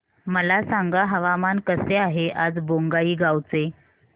मला सांगा हवामान कसे आहे आज बोंगाईगांव चे